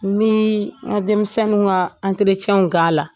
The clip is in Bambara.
N bi n ka denmisɛnninw ka k'a la